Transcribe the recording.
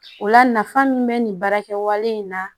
O la nafa min be nin baara kɛwale in na